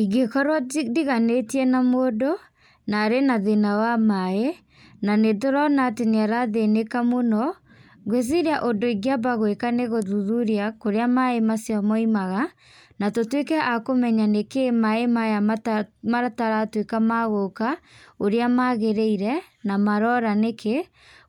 Ingĩ korwo ndiganĩtie na mũndũ na arĩ na thĩna wa maaĩ, na nĩ tũrona atĩ nĩ arathĩnĩka mũno, ngwĩciria ũndũ ingĩamba gwĩka nĩ gũthuthuria kũrĩa maaĩ macio maimaga, na tũtwĩke a kũmenya nĩ kĩĩ maaĩ maya mataratuĩka magũka ũrĩa maagĩrĩire na marora nĩkĩ.